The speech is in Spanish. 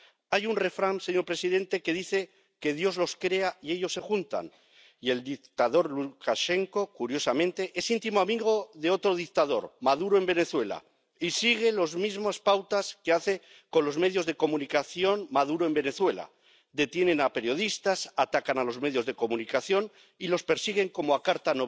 Hay un refrán, señor presidente, que dice que Dios los crea y ellos se juntan, y el dictador Lukashenko, curiosamente, es íntimo amigo de otro dictador —Maduro, en Venezuela— y sigue las mismas pautas que Maduro, en Venezuela, con los medios de comunicación detiene a periodistas, ataca a los medios de comunicación y los persigue, como a Carta